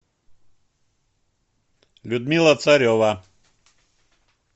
людмила царева